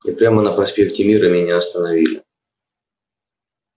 и прямо на проспекте мира меня остановили